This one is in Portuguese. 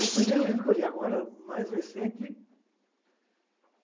O primeiro livro que eu li agora, mais recente.